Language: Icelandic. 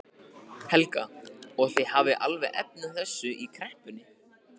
Helga: Og þið hafið alveg efni á þessu í kreppunni?